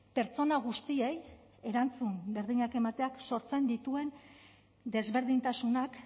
pertsona guztiei erantzun berdinak emateak sortzen dituen desberdintasunak